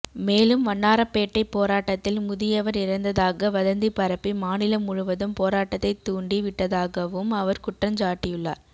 மேலும் வண்ணாரப்பேட்டை போராட்டத்தில் முதியவர் இறந்ததாக வதந்தி பரப்பி மாநிலம் முழுவதும் போராட்டத்தை தூண்டி விட்டதாகவும் அவர் குற்றஞ்சாட்டியுள்ளார்